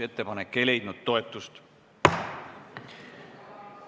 Ettepanek ei leidnud toetust.